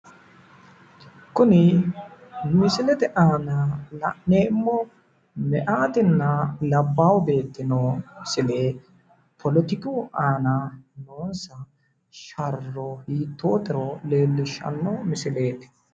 kuni misilete aana la'neemmo meyaatinna labbaahu beettino silepoletiku aana noosi sharro hiitootero lellishshanno misileeti.